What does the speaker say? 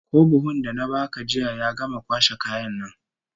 Ko buhun da na baka jiya ya gama kwashe kayan nan?